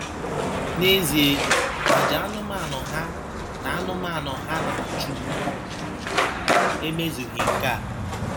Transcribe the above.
N’ezie, àjà anụmanụ ha na anụmanụ ha na - achụbu emezughị nke a.